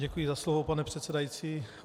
Děkuji za slovo, pane předsedající.